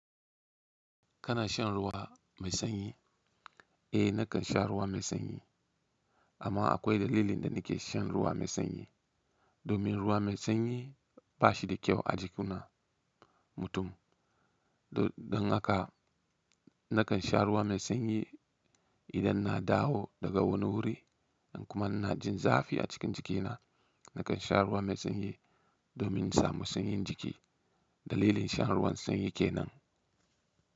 Kana shan ruwa mai sanyi? Eh, na kan sha ruwa mai sanyi. Amma akwai dalilin da ni ke shan ruwa mai sanyi. Domin ruwa mai sanyi ba shi da kyau a jiki na mutum. Don haka na kan sha ruwa mai sanyi idan na dawo daga wani wuri in kuma ina jin zafi a cikin jikina. Na kan sha ruwa mai sanyi domin samu sanyin jiki. Dalilin shan ruwan sanyi ke nan.